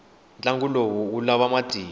ntlangu lowu wu lava matimba